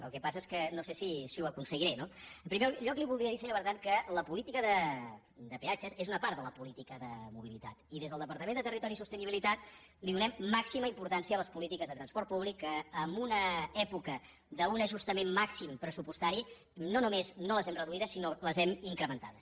el que passa és que no sé si ho aconseguiré no en primer lloc li volia dir senyor bertran que la política de peatges és una part de la política de mobilitat i des del departament de territori i sostenibilitat donem màxima importància a les polítiques de transport públic que en una època d’un ajustament màxim pressupostari no només no les hem reduïdes sinó que les hem incrementades